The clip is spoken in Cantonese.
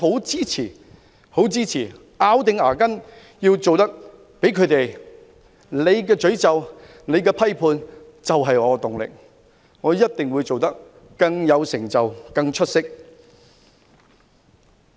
因此，我們要咬緊牙關，他們的詛咒和批判就是我們的動力，我們一定要做得比他們更有成就和更出色。